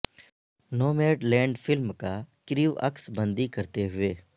نو made land فلم کا crew عکس بندی کرتے ہوئے